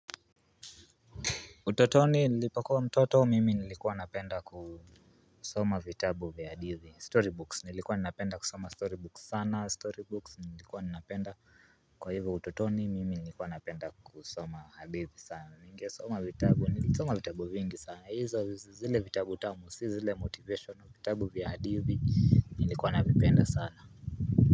Utotoni nilipokuwa mtoto mimi nilikuwa napenda kusoma vitabu vya hadithi Storybooks nilikuwa napenda kusoma storybooks sana Storybooks nilikuwa napenda kwa hivyo utotoni mimi nilikuwa napenda kusoma hadithi sana Ninge soma vitabu nilisoma vitabu vingi sana hizo zile vitabu tamu, si zile motivation, vitabu vya hadithi nilikuwa napenda sana.